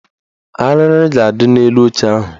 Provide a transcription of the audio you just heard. Arịrị ga-adị n'elu oche ahụ